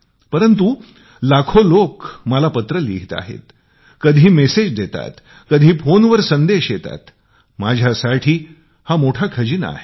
परंतु लाखो लोक मला पत्र लिहीत आहेत कधी निरोप देतात कधी फोनवर संदेश येतात माझ्यासाठी हा मोठा खजाना आहे